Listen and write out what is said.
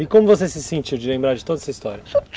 E como você se sentiu de lembrar de toda essa história?